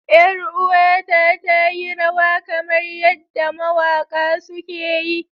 Yar'uwata ta yi rawa kamar yadda mawaƙa suke yi.